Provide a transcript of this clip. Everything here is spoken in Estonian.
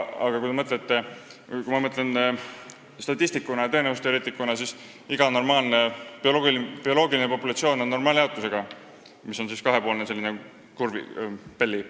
Kui ma mõtlen sellele statistiku ja tõenäosusteoreetikuna, siis iga normaalne bioloogiline populatsioon on normaaljaotusega, mis tähendab kahepoolset bell curve'i.